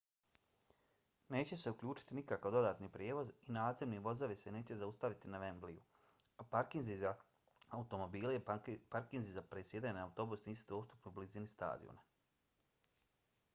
neće se uključiti nikakav dodatni prijevoz i nadzemni vozovi se neće zaustaviti na wembleyu a parkinzi za automobile i parkinzi za presjedanje na autobus nisu dostupni u blizini stadiona